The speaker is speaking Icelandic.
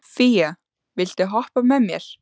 Fía, viltu hoppa með mér?